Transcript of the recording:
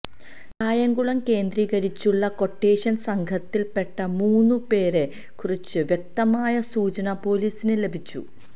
കായംകുളം കേന്ദ്രീകരിച്ചുള്ള ക്വട്ടേഷൻ സംഘത്തിൽ പെട്ട മൂന്നു പേരെ കുറിച്ച് വ്യക്തമായ സൂചന പൊലീസിന് ലഭിച്ചു